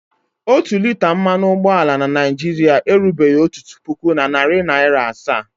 Otu lita mmanụ ụgbọala na Naịjirịa erubeghi otu puku na narị naịra asaa.